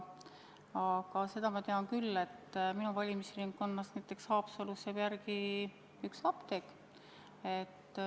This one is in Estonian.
Aga seda ma tean küll, et minu valimisringkonnas Haapsalus jääb järele üks apteek.